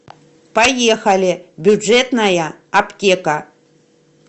поехали бюджетная аптека